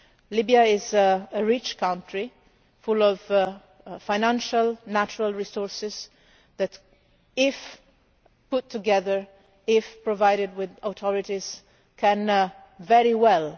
Libya is a rich country full of financial natural resources which if put together, if provided with authorities, can perform very well.